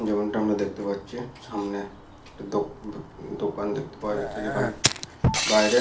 যেমনটা আমরা দেখতে পাচ্ছি সামনে একটি দো দো দোকান দেখতে পাওয়া যাচ্ছে যেখানে বাইরে।